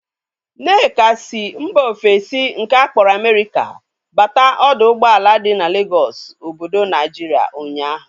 Nneka si mba ofesi nke akpọrọ Amerika bata ọdọ ụgbọala dị n'Legọsụ obodo Naijiria ụnyaahụ